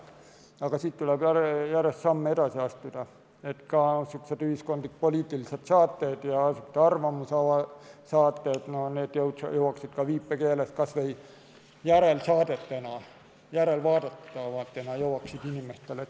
Aga siit tuleb järjest samme edasi astuda, et ka ühiskondlik-poliitilised saated ja arvamussaated jõuaksid viipekeeles kas või järelvaadatavatena inimesteni.